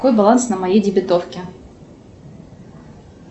какой баланс на моей дебетовке